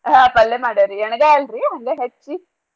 ಹಾ ಪಲ್ಲೇ ಮಾಡ್ಯಾರಿ ಯಣಗಾಯಿ ಅಲ್ರೀ ಹಂಗ ಹೆಚ್ಚಿ.